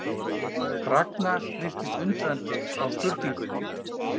Ragnar virtist undrandi á spurningunni.